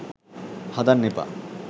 හදන්න එපා.